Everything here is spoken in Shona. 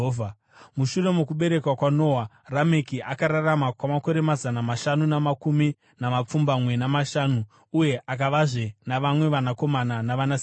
Mushure mokuberekwa kwaNoa, Rameki akararama kwamakore mazana mashanu namakumi mapfumbamwe namashanu uye akavazve navamwe vanakomana navanasikana.